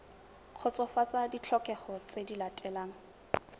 kgotsofatsa ditlhokego tse di latelang